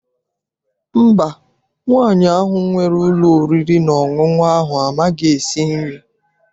Mba, nwaanyị ahụ nwere ụlọ oriri na ọṅụṅụ ahụ amaghị esi nri.